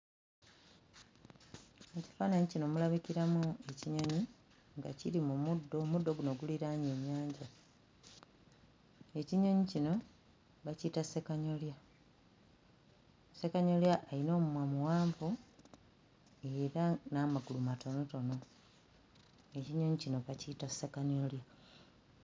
Mu kifaananyi kino mulabikiramu ekinyonyi nga kiri mu muddo omuddo guno guliraanye ennyanja ekinyonyi kino bakiyita ssekanyolya ssekanyolya ayina omumwa muwanvu era n'amagulu matonotono ekinyonyi kino bakiyita ssekanyolya.